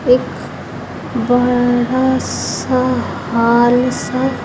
एक बड़ा सा हाल सा--